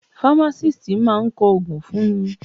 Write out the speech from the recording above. Fámásìst máa kọ ògùn fún ni.